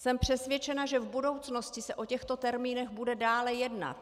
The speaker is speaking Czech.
Jsem přesvědčena, že v budoucnosti se o těchto termínech bude dále jednat.